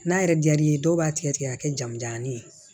N'a yɛrɛ diyar'i ye dɔw b'a tigɛ tigɛ ka kɛ jamujannin ye